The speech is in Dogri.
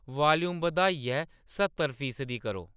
वाल्यूम बधाइयै स्हत्तर फीसदी करो